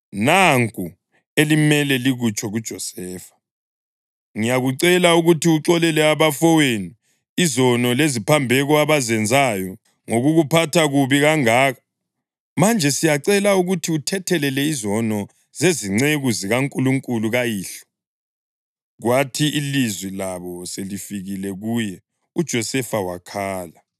‘Nanku elimele likutsho kuJosefa: Ngiyakucela ukuthi uxolele abafowenu izono leziphambeko abazenzayo ngokukuphatha kubi kangaka.’ Manje siyacela ukuthi uthethelele izono zezinceku zikaNkulunkulu kayihlo.” Kwathi ilizwi labo selifikile kuye uJosefa wakhala.